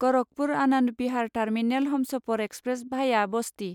Gorakhpur Anand Vihar terminal Humsafar express भाया बस्ति